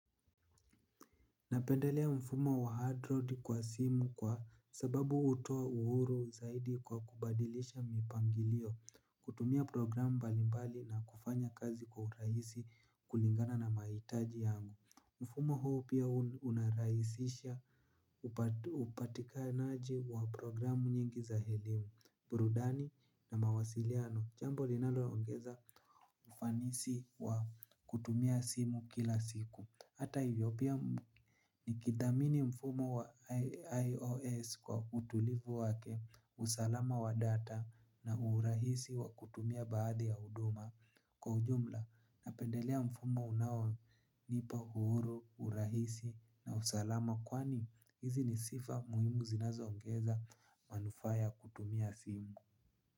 Napendelea mfumo wa adroad kwa simu kwa sababu utoa uhuru zaidi kwa kubadilisha mipangilio kutumia program mbalimbali na kufanya kazi kwa uraisi kulingana na mahitaji yangu. Mfumo huo pia unaraisisha upatikanaji wa programu nyingi za helimu, burudani na mawasiliano, chambo linaloongeza ufanisi wa kutumia simu kila siku. Hata hivyo pia nikithamini mfumo wa IOS kwa utulivu wake usalama wa data na urahisi wa kutumia baadhi ya huduma. Kwa ujumla napendelea mfumo unaonipa uhuru, urahisi na usalama kwani hizi ni sifa muhimu zinazoongeza manufaa ya kutumia simu.